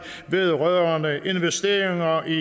vedrørende investeringer i